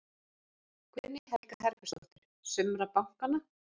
Guðný Helga Herbertsdóttir: Sumra bankanna?